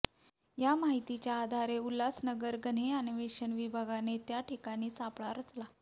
या माहितीच्या आधारे उल्हासनगर गन्हे अन्वेषण विभागाने त्या ठिकाणी सापळा रचला